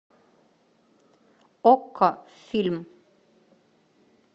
окко фильм